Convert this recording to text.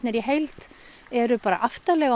eru aftarlega á